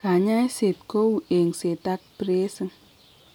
Kanyaiset kou engset ak bracing